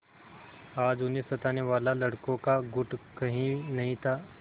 आज उन्हें सताने वाला लड़कों का गुट कहीं नहीं था